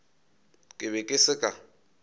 ke be ke se ka